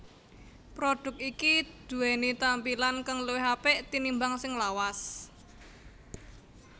Produk iki duweni tampilan kang luwih apik tinimbang sing lawas